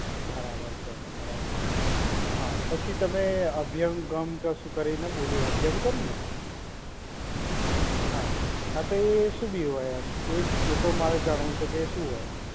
બરાબર છે બરાબર. હા પછી તમે અભિયંગમ કશું કરીને બોલ્યો. અભિયંગમ ને? હા. હા તો એ શું બી હોય એમ એ એ પણ મારે જાણવું છે કે એ શું હોય?